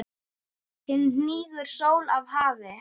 Nú hnígur sól að hafi.